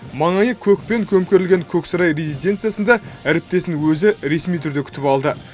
маңайы көкпен көмкерілген көк сарай резиденциясында әріптесін өзі ресми түрде күтіп алды